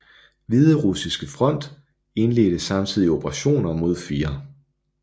Hviderussiske front indledte samtidig operationer mod 4